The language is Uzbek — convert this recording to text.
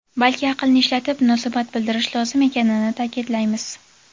balki aqlni ishlatib munosabat bildirish lozim ekanini ta’kidlaymiz.